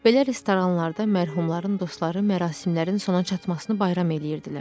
Belə restoranlarda mərhumların dostları mərasimlərin sona çatmasını bayram eləyirdilər.